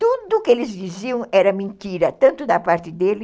Tudo que eles diziam era mentira, tanto da parte dele...